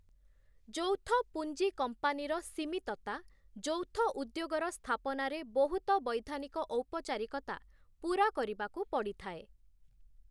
ଯୌଥ ପୁଞ୍ଜି କମ୍ପାନୀର ସୀମିତତା ଯୌଥଉଦ୍ୟୋଗର ସ୍ଥାପନାରେ ବହୁତ ବୈଧାନିକ ଔପଚାରିକତା ପୁରା କରିବାକୁ ପଡ଼ିଥାଏ ।